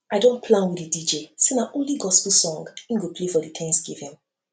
i don plan with di dj say na only gospel song he go play for the thanksgiving